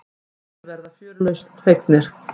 Flestir verða fjörlausn fegnir.